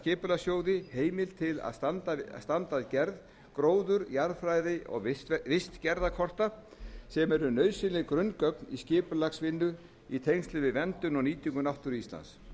skipulagssjóði heimild til að standa að gerð gróður jarðfræði og vistgerðarkorta sem eru nauðsynleg grunngögn í skipulagsvinnu í tengslum við verndun og nýtingu náttúru íslands